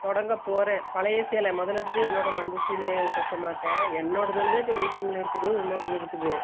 தொடங்கப்போறேன் பழைய சேல முதல எடுத்ததும் என்னோட மஞ்ச சேலய தேக்கமாட்டே என்னோடதுல தான் waiting ல இருக்குது உன்னோடதும் இருக்குது